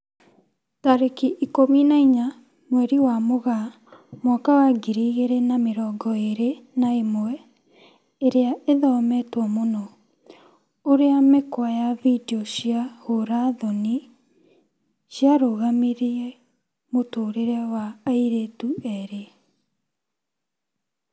Tarĩki ikũmi na inya mweri wa Mũgaa mwaka wa ngiri igĩri na mĩrongo ĩri na ĩmwe, ĩria ĩthometwo mũno: ũrĩa mĩkwa ya video cia ũra thoni ciarũgamirie mũtũrĩre wa airĩtu erĩ